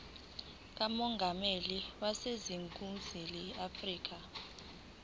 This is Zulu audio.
kamongameli waseningizimu afrika